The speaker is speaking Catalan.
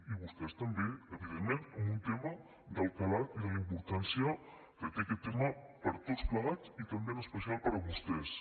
i vostès també evidentment en un tema del calat i de la importància que té aquest tema per a tots plegats i també en especial per a vostès